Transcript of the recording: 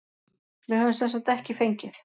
Við höfum semsagt ekki fengið.